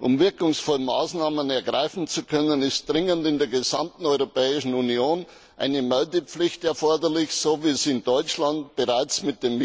Um wirkungsvolle Maßnahmen ergreifen zu können, ist dringend in der gesamten Europäischen Union eine Meldepflicht erforderlich, so wie es in Deutschland bereits mit den